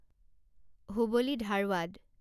Hubli Dharwad